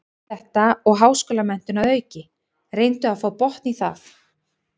Allt þetta og háskólamenntun að auki, reyndu að fá botn í það.